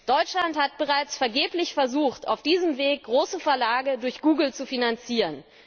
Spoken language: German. Deutschland hat bereits vergeblich versucht, auf diesem Weg große Verlage durch Google zu finanzieren.